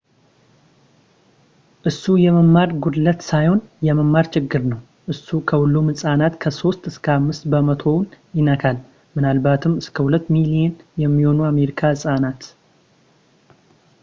እሱ የመማር ጉድለት ሳይሆን የመማር ችግር ነው; እሱ ከሁሉም ሕፃናት ከ 3 እስከ 5 በመቶውን ይነካል ፣ ምናልባትም እስከ 2 ሚሊዮን የሚሆኑ የአሜሪካ ሕፃናት